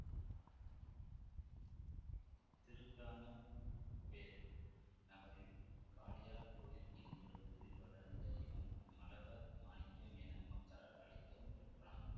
திருக்கானப்பேர் நகரில் காளையார் கோயில் என்ற ஊரில் வளர்ந்த இவன் மழவர் மாணிக்கம் என மக்களால் அழைக்கவும் பெற்றான்